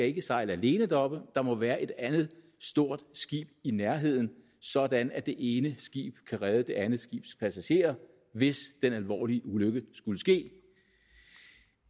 ikke sejle alene deroppe der må være et andet stort skib i nærheden sådan at det ene skib kan redde det andet skibs passagerer hvis den alvorlige ulykke skulle ske